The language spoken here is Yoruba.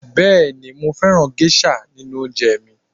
Bẹẹni mo fẹ́ràn gẹ́ṣà nínú oúnjẹ mi